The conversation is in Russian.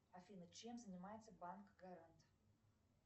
афина чем занимается банк гарант